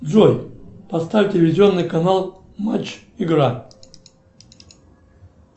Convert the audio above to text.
джой поставь телевизионный канал матч игра